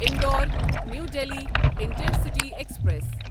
Indore New Delhi intercity express